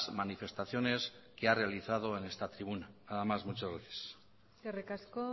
manifestaciones que ha realizado en esta tribuna nada más muchas gracias eskerrik asko